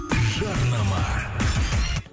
жарнама